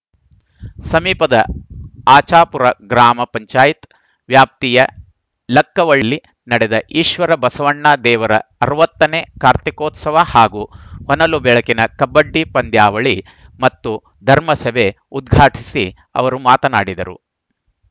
ಸಮೀಪದ ಆಚಾಪುರ ಗ್ರಾಮ ಪಂಚಾಯತ್ ವ್ಯಾಪ್ತಿಯ ಲಕ್ಕವಳ್ಳಿ ನಡೆದ ಈಶ್ವರ ಬಸವಣ್ಣ ದೇವರ ಅರವತ್ತ ನೇ ಕಾರ್ತಿಕೋತ್ಸವ ಹಾಗೂ ಹೊನಲು ಬೆಳಕಿನ ಕಬ್ಬಡಿ ಪಂದ್ಯಾವಳಿ ಮತ್ತು ಧರ್ಮಸಭೆ ಉದ್ಘಾಟಿಸಿ ಅವರು ಮಾತನಾಡಿದರು